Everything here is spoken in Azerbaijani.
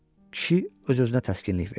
Kişi öz-özünə təskinlik verdi.